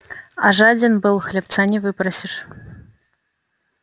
а жаден был хлебца не выпросишь